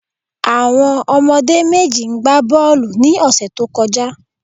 Àwon omodé méjì n gba bóòlù ni òsè tó kojá